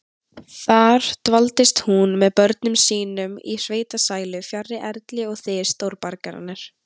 Þar dvaldist hún með börnum sínum í sveitasælu, fjarri erli og þys stórborgarinnar.